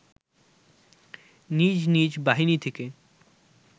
নিজ নিজ বাহিনী থেকে